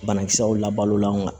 Banakisɛw la balolan